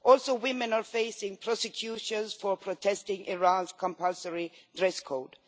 Also, women are facing prosecution for protesting against Iran's compulsory dress code.